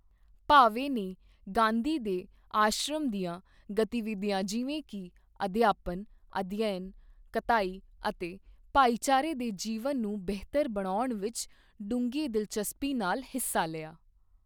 ਭਾਵੇ ਨੇ ਗਾਂਧੀ ਦੇ ਆਸ਼ਰਮ ਦੀਆਂ ਗਤੀਵਿਧੀਆਂ ਜਿਵੇਂ ਕਿ ਅਧਿਆਪਨ, ਅਧਿਐਨ, ਕਤਾਈ ਅਤੇ ਭਾਈਚਾਰੇ ਦੇ ਜੀਵਨ ਨੂੰ ਬਿਹਤਰ ਬਣਾਉਣ ਵਿੱਚ ਡੂੰਘੀ ਦਿਲਚਸਪੀ ਨਾਲ ਹਿੱਸਾ ਲਿਆ।